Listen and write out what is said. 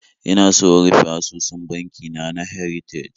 Ina so in rufe asusun banki na na Heritage